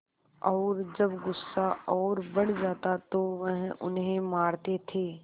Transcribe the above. और जब गुस्सा और बढ़ जाता तो वह उन्हें मारते थे